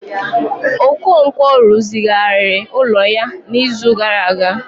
Okonkwo rụzigharịrị ụlọ ya n'izu gara aga